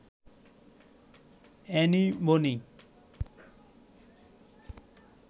Annie Boni